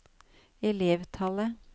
elevtallet